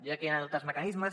diria que hi han altres mecanismes